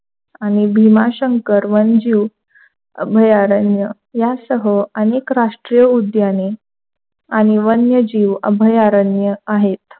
आणि भीमाशंकर वनजीव अभयारण्य यासह अनेक राष्ट्रीय उद्याने आणि वन्यजीव अभयारण्य आहेत.